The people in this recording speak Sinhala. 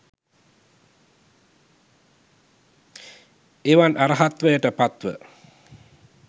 එවන් අර්හත්වයට පත්ව